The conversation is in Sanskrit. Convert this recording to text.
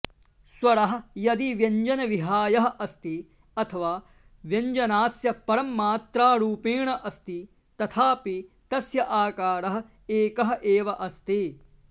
स्वराः यदि व्यञ्जनविहायः अस्ति अथवा व्यञ्जनास्य परम् मात्रारूपेण अस्ति तथापि तस्य आकारः एकः एव अस्ति